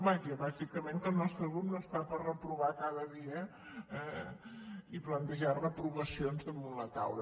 vaja bàsicament que el nostre grup no està per reprovar cada dia eh i plantejar reprova·cions damunt la taula